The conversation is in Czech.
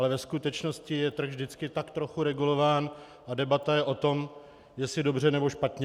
Ale ve skutečnosti je trh vždycky tak trochu regulován a debata je o tom, jestli dobře, nebo špatně.